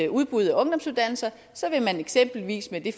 udbud af ungdomsuddannelser så vil man eksempelvis med det